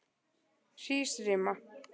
Hrísrima